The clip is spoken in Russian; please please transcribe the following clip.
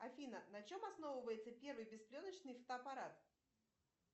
афина на чем основывается первый беспленочный фотоаппарат